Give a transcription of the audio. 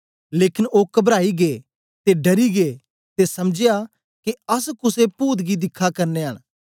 लेकन ओ कबराई गै ते डरी गै ते समझया के अस कुसे पूत गी दिखा करनयां न